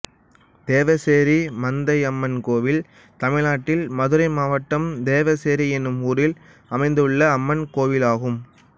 தேவசேரி மந்தையம்மன் கோயில் தமிழ்நாட்டில் மதுரை மாவட்டம் தேவசேரி என்னும் ஊரில் அமைந்துள்ள அம்மன் கோயிலாகும்